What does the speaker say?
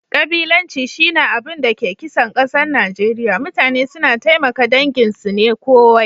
Kabilanci shi na abin da ke kisan kasan Nijeriya. Mutane suna taimaka dangin su ne kowai.